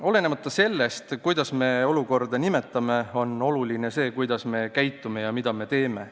Olenemata sellest, kuidas me olukorda nimetame, on oluline see, kuidas me käitume ja mida me teeme.